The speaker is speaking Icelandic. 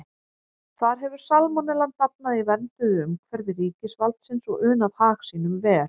Þar hefur salmonellan dafnað í vernduðu umhverfi ríkisvaldsins og unað hag sínum vel.